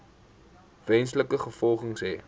wesenlike gevolge hê